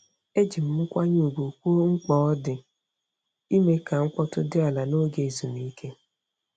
Eji m nkwanye ùgwù kwuo mkpa ọ dị ime ka mkpọtụ dị ala n'oge ezumike.